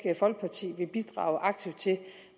folkeparti vil bidrage aktivt til det